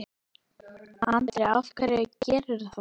Andri: Af hverju gerirðu það?